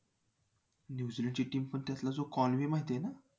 New Zealand ची team पण त्यातला जो Conway माहिती आहे ना?